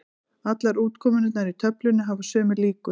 Allar útkomurnar í töflunni hafa sömu líkur.